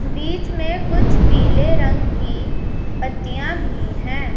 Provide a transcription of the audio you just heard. बीच में कुछ पीले रंग की पत्तियां भी हैं।